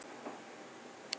Við ætlum ekki heim!